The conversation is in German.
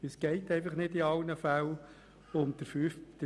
Es ist eben nicht in allen Fällen möglich, kostengünstiger zu arbeiten.